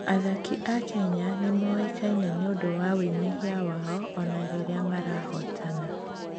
Athaki a Kenya nĩ moĩkaine nĩ ũndũ wa wĩnyihia wao, o na rĩrĩa marahootana.